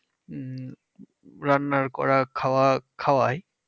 উম রান্নার করা খাওয়া খাওয়ায়